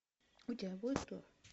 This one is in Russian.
у тебя будет что